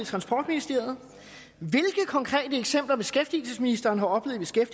transportministeriet hvilke konkrete eksempler beskæftigelsesministeren har oplevet